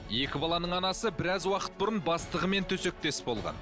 екі баланың анасы біраз уақыт бұрын бастығымен төсектес болған